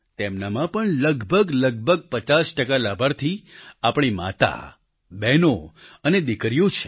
તેમનામાં પણ લગભગલગભગ 50 ટકા લાભાર્થી આપણી માતા બહેનો અને દિકરીઓ છે